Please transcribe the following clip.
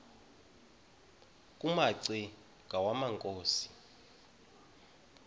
kumaci ngwana inkosi